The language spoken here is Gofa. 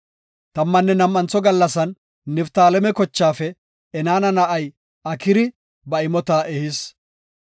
Tammanne nam7antho gallasan Niftaaleme kochaafe Enaana na7ay Akira ba imota ehis.